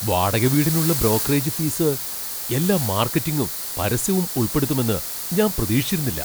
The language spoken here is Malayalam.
വാടക വീടിനുള്ള ബ്രോക്കറേജ് ഫീസ് എല്ലാ മാർക്കറ്റിംഗും പരസ്യവും ഉൾപ്പെടുത്തുമെന്ന് ഞാൻ പ്രതീക്ഷിച്ചിരുന്നില്ല.